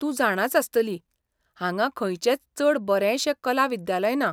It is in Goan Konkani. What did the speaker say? तूं जाणांच आसतली, हांगा खंयचेंच चड बरेंशें कला विद्यालय ना.